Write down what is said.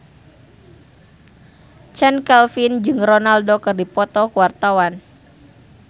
Chand Kelvin jeung Ronaldo keur dipoto ku wartawan